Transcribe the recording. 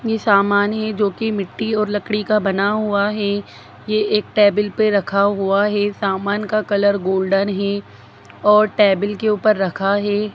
इ सामान है जो की मिटटी और लकड़ी का बना हुआ है यह एक टेबल पे रखा हुआ है सामान का कलर गोल्डन है और टेबल के ऊपर रखा हुआ है।